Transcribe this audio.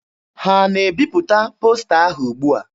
Ha na-ebipụta posta ahụ ugbua?